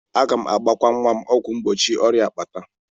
Aga m agbakwa nwa m ọgwụ mgbochi ọrịa akpata.